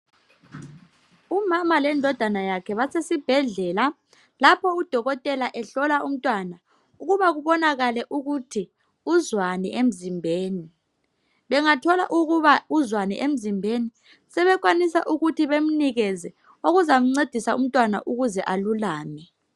Umama lendodana yakhe basesibhedlela lapho udokotela ehlola umntwana ukuba kubonakale ukuthi uzwani emzimbeni. Bengathola ukuba uzwani emzimbeni sebekwanisa ukuthi bemnikeze okuzamncedisa umntwana ukuze alulame.